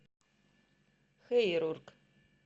хэйрург